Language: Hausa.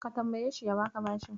Ka tambayeshi ya baka bashin.